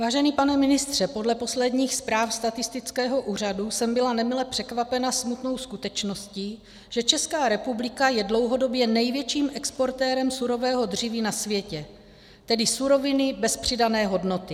Vážený pane ministře, podle posledních zpráv statistického úřadu jsem byla nemile překvapena smutnou skutečností, že Česká republika je dlouhodobě největším exportérem surového dříví na světě, tedy suroviny bez přidané hodnoty.